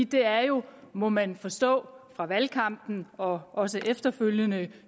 det er jo må man forstå fra valgkampen og også efterfølgende